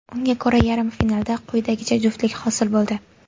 Unga ko‘ra yarim finalda quyidagicha juftlik hosil bo‘ldi.